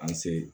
An se